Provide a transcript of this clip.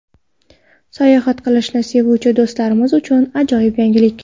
Sayohat qilishni sevuvchi do‘stlarimiz uchun ajoyib yangilik.